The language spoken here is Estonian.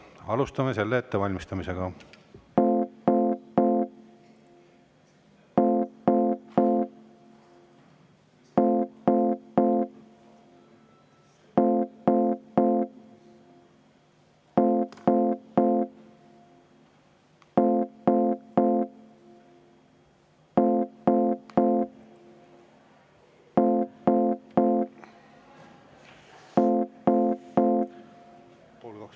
Alustame hääletuse ettevalmistamist.